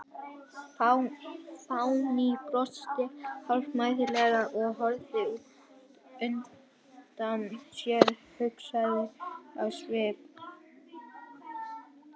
Fanný brosti hálfmæðulega og horfði út undan sér, hugsi á svip.